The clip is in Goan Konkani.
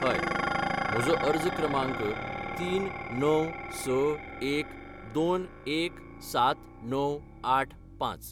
हय, म्हजो अर्ज क्रमांक तीन णव स एक दोन एक सात णव आठ पांच